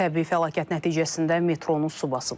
Təbii fəlakət nəticəsində metronu su basıb.